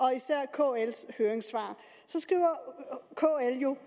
kl’s høringssvar hvor kl jo